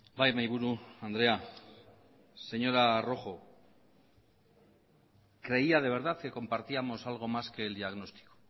bai mahaiburu andrea señora rojo creía de verdad que compartíamos algo más que el diagnóstico